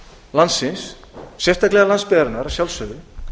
landsins sérstaklega landsbyggðarinnar að sjálfsögðu